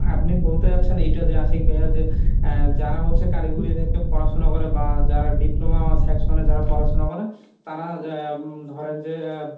আপনি বলতে চাচ্ছেন এইটা যে আশিক ভাইয়া যে যারা হচ্ছে কারিগরি থেকে পড়াশুনা করে বা যারা diploma section যারা পড়াশুনা করে তারা আহ ধরেন যে